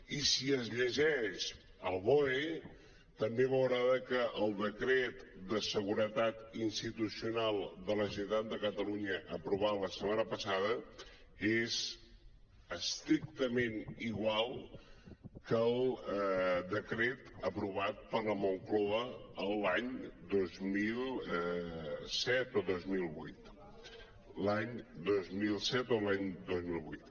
i si es llegeix el boe també veurà que el decret de seguretat institucional de la generalitat de catalunya aprovat la setmana passada és estrictament igual que el decret aprovat per la moncloa l’any dos mil set o dos mil vuit l’any dos mil set o l’any dos mil vuit